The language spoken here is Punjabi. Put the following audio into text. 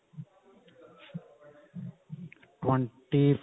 twenty four